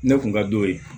Ne kun ka d'o ye